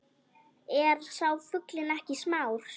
Er sá fuglinn ekki smár